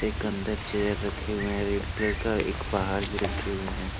एक अंदर चेयर रखे हुए हैं रेड कलर का एक बाहर भी रखे हुए हैं।